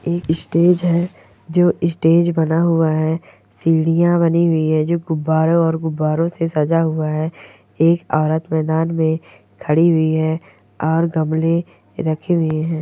एक स्टेज है जो स्टेज बना हुआ है। सीढ़ियां बनी हुई हैं जो गुब्बारों और गुब्बारों से सजा हुआ है। एक औरत मैदान में खड़ी हुई है और गमले रखे हुए हैं।